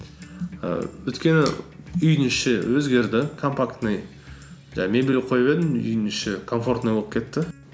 і өйткені үйдің іші өзгерді компактный жаңағы мебель қойып едім үйдің іші комфортный болып кетті